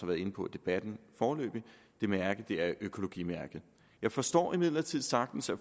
været inde på i debatten det mærke er økologimærket jeg forstår imidlertid sagtens at